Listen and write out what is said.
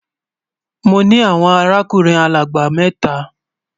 Mọ ní awọn àràkùnrin agbalagbà méta.